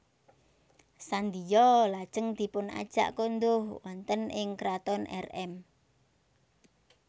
Sandiyo lajeng dipunajak konduh wonten ing kraton Rm